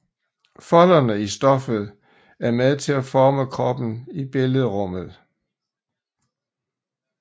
Folderne i stoffet er med til at forme kroppen i billedrummet